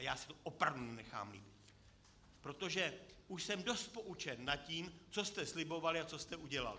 A já si to opravdu nenechám líbit, protože už jsem dost poučen o tom, co jste slibovali a co jste udělali.